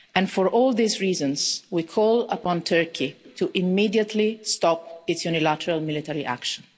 For all these reasons, we call upon Turkey to immediately stop its unilateral military action.